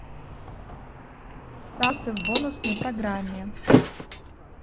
старший в бонусной программе